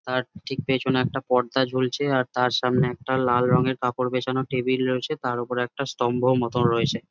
তার ঠিক পিছনে একটা পর্দা ঝুলছে আর তার সামনে একটা লাল রঙের কাপড় বিছানো টেবিল রয়েছে তার উপর একটা স্থম্ভ মতন রয়েছে।